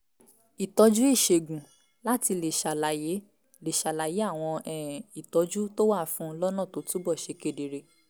ìtọ́jú ìṣègùn láti lè ṣàlàyé lè ṣàlàyé àwọn um ìtọ́jú tó wà fún un lọ́nà tó túbọ̀ ṣe kedere